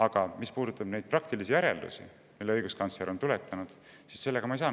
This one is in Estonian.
Aga nende praktiliste järeldustega, mille õiguskantsler on tuletanud, ma nõustuda ei saa.